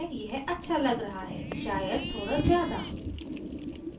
शायद थोड़ा ज़्यादा